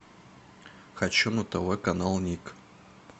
хочу на тв канал ник